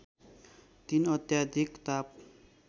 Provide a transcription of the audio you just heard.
३ अत्याधिक ताप